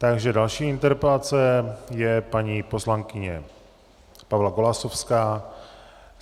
Takže další interpelace je paní poslankyně Pavla Golasowská.